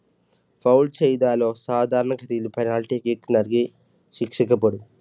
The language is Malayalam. foul ചെയ്താലോ സാധാരണ കളിയിൽ penalty kick നൽകി ശിക്ഷിക്കപ്പെടും.